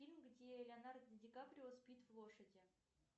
фильм где леонардо ди каприо спит в лошади